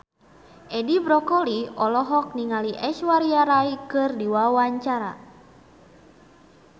Edi Brokoli olohok ningali Aishwarya Rai keur diwawancara